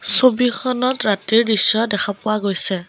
ছবিখনত ৰাতিৰ দৃশ্য দেখা পোৱা গৈছে।